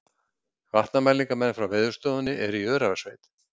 Vatnamælingamenn frá Veðurstofunni eru í Öræfasveit